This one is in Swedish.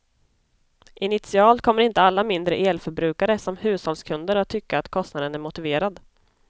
Initialt kommer inte alla mindre elförbrukare, som hushållskunder, att tycka att kostnaden är motiverad.